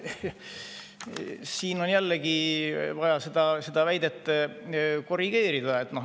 Siin on jällegi vaja väidet korrigeerida.